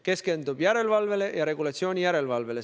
Keskendub järelevalvele ja regulatsiooni järelevalvele.